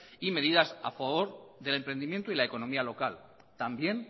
y medidas a favor del emprendimiento y la economía local también